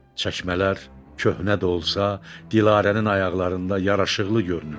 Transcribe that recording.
Çəkmələr köhnə də olsa, Dilarənin ayaqlarında yaraşıqlı görünürdü.